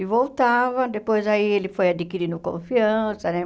E voltava, depois aí ele foi adquirindo confiança, né?